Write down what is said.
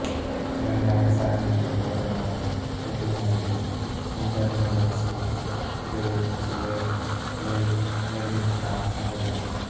ನಿರ್ಣಾಯಕ ಸರಣಿಯಲ್ಲಿ ಮೂರನೆಯ ಋತುವಿನಲ್ಲಿ intern Lexie Grey Chyler Leigh Meredith ನ ಸಹೋದರಿ